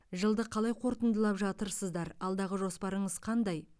жылды қалай қорытындылап жатырсыздар алдағы жоспарыңыз қандай